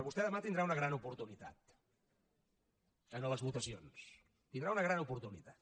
vostè demà tindrà una gran oportunitat en les votacions tindrà una gran oportunitat